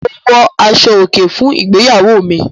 Mo wọ aṣọ-òkè fún ìgbéyàwó mi.